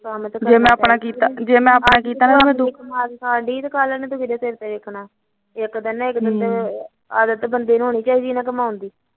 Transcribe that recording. ਆਦਤ ਤਾਂ ਬੰਦੇ ਨੂੰ ਹੋਣੀ ਚਾਹੀਦੀ ਕਮਾਉਣ ਦੀ ਮੈਂ ਨੀ ਐਨੀ ਟੈਨਸ਼ਨ ਲੈਂਦੀ